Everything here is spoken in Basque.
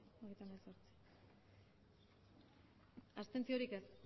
emandako botoak hirurogeita hamabost